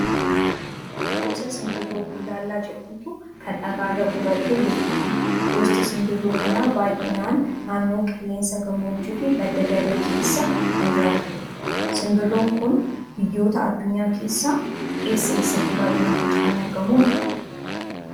Gosa simbirroo bullaallaa jedhamtu kan dhagaa irra qubattee jirtudha. Gosti simbirroo kanaa baay'inaan naannoo qilleensa gammoojjii fi badda daree keessa kan jiraatanidha. Simbirroon kun biyyoota addunyaa keessaa eessa eessatti baay'inaan faca'anii argamu?